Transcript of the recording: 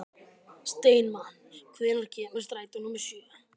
Steinmann, hvenær kemur strætó númer sjö?